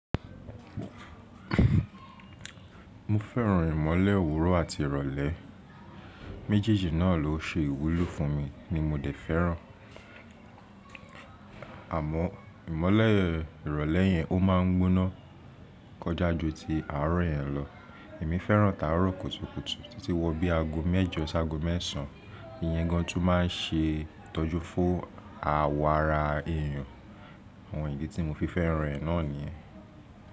Mo fẹ́ràn ìmọ́lẹ̀ òwúrọ̀ àti ìrọ̀lẹ́, méjèèjì náà ló ṣe ìwúlò fún mi ni mo dẹ̀ fẹ́ràn. Àmọ́ ìmọ́lẹ̀ ìrọ̀lẹ́ yẹn ó má ń gbóná kọjá ju ti àárọ̀ yẹn lọ. Èmi fẹ́ràn táárọ̀ kùtùkùtù títí wọ bí aago mẹ́jọ sí aago mẹ́sàn án. Iyẹn gan tún ma n ṣe ìtọ́jú fún awọ ara èyàn. Àwọn ìdí tí mo fi fẹ́ràn rẹ̀ náà nìyẹn.